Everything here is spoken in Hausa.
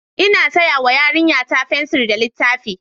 Ina saya wa yarinyata fensir da littafi.